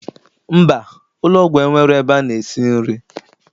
Mba, ụlọgwụ enwero ebe ana esi nri